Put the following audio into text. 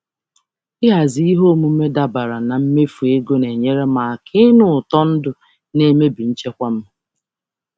Ịhazi ihe omume dabara na mmefu ego na-enyere m aka m aka ịnụ ụtọ ndụ na-emebi nchekwa m.